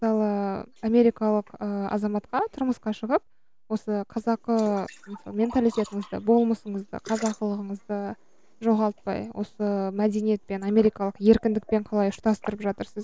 мысалы америкалық ыыы азаматқа тұрмысқа шығып осы қазақы менталитетіңізді болмысыңызды қазақылығыңызды жоғалтпай осы мәдениет пен америкалық еркіндікпен қалай ұштастырып жатырсыз